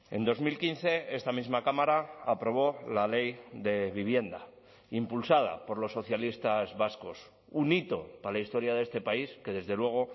en dos mil quince esta misma cámara aprobó la ley de vivienda impulsada por los socialistas vascos un hito para la historia de este país que desde luego